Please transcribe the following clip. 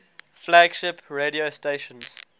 flagship radio stations